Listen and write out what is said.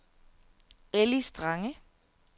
Elli Strange